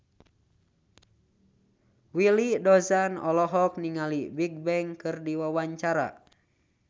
Willy Dozan olohok ningali Bigbang keur diwawancara